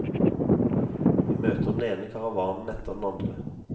Vi møter den ene karavanen etter den andre.